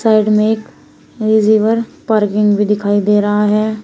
Side में एक parking भी दिखाई दे रहा है।